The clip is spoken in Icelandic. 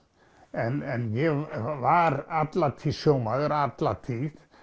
en ég var alla tíð sjómaður alla tíð